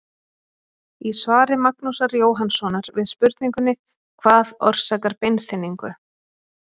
Í svari Magnúsar Jóhannssonar við spurningunni Hvað orsakar beinþynningu?